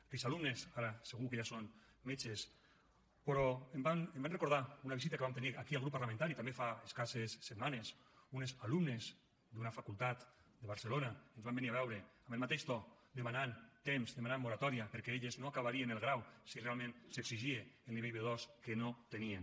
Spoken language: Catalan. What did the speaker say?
aquells alumnes ara segur que ja són metges però em van recordar una visita que vam tenir aquí al grup parlamentari també fa escasses setmanes unes alumnes d’una facultat de barcelona ens van venir a veure amb el mateix to demanant temps demanant moratòria perquè elles no acabarien el grau si realment s’exigia el nivell b2 que no tenien